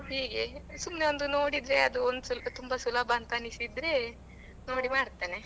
ಹೀಗೆ ಸುಮ್ನೆ ಒಂದು ನೋಡಿದ್ರೆ ಅದು ಒಂದು ತುಂಬಾ ಸುಲಭ ಅಂತ ಅನಿಸಿದ್ರೆ ನೋಡಿ ಮಾಡ್ತೇನೆ.